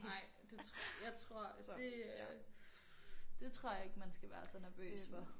Ej det tror jeg tror at det øh det tror jeg ikke man skal være så nervøs for